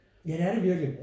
Ja det er det virkelig